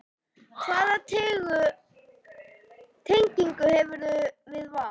Hvaða tengingu hefurðu við Val?